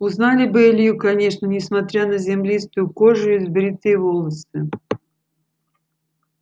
узнали бы илью конечно несмотря на землистую кожу и сбритые волосы